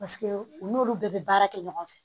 Paseke u n'olu bɛɛ bɛ baara kɛ ɲɔgɔn fɛ